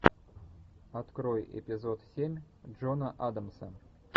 открой эпизод семь джона адамса